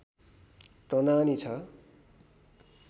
प्रनानि ६